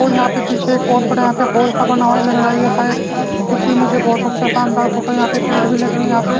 और यहां पे पीछे एक बहुत बड़ा यहां पे होल सा बना हुआ है लग रहा है ये शायद किसी मुझे बहुत अच्छा शानदार फोटो यहां पे पेड़ भी लगे यहां पे--